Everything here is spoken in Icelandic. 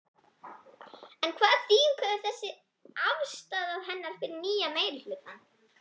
En hvaða þýðingu hefur þessi afstaða hennar fyrir nýja meirihlutann?